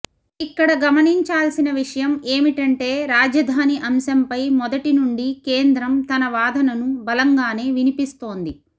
ఇక్కడ గమనించాల్సిన విషయం ఏమిటంటే రాజధాని అంశంపై మొదటి నుండి కేంద్రం తన వాదనను బలంగానే వినిపిస్తోంది